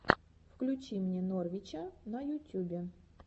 включи мне новрича на ютюбе